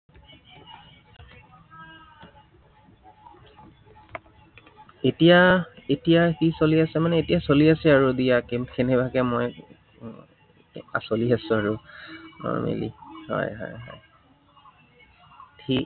এতিয়া এতিয়া কি চলি আছে মানে, এতিয়া চলি আছে আৰু দিয়া কেনেবাকে মই। চলি আছো আৰু আহ কৰি মেলি, হয় হয় হয় ঠিক